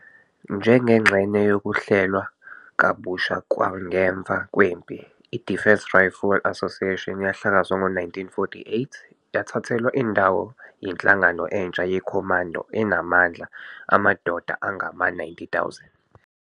Njengengxenye yokuhlelwa kabusha kwangemva kwempi, i-Defence Rifle Associations yahlakazwa ngo-1948 yathathelwa indawo yinhlangano entsha yeCommando enamandla amadoda angama-90,000.